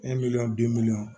bi miliyɔn